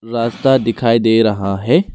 रास्ता दिखाई दे रहा है।